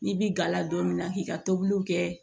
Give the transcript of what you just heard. N'i bi gala don mina k'i ka tobiliw kɛ